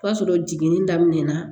O y'a sɔrɔ jiginni daminɛna